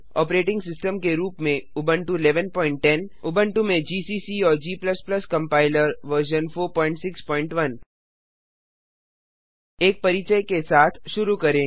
operating system के रूप में उबुंटू 1110 उबुंटू में जीसीसी और g कंपाइलर वर्जन 461 एक परिचय के साथ शुरू करें